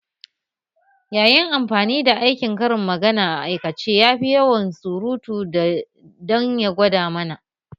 Ya yi amfani da aikin karin magana a aikace yafi yawan surutu dan ya gwada mana